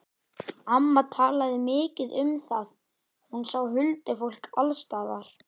Amma talaði mikið um það, hún sá huldufólk alls staðar.